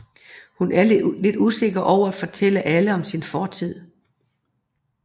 Hun er lidt usikker over at fortælle alle om sin fortid